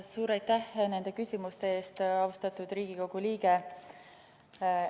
Suur aitäh nende küsimuste eest, austatud Riigikogu liige!